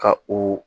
Ka o